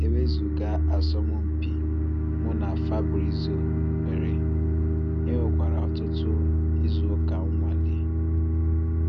Ewezuga asomumpi mu na Fabrizio nwere, enwekwara otutu izu uka nnwale.